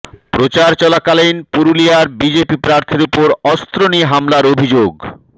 প্রচার চলাকালীন পুরুলিয়ার বিজেপি প্রার্থীর উপর অস্ত্র নিয়ে হামলার অভিযোগ